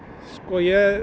ég